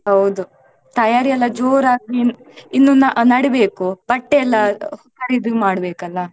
ಹೌದು ತಯಾರಿಯೆಲ್ಲ ಜೋರಾಗಿ ಇ~ ಇನ್ನು ನ~ ನಡೀಬೇಕು ಬಟ್ಟೆ ಎಲ್ಲಾ ಖರೀದಿ ಮಾಡ್ಬೇಕಲ್ಲ?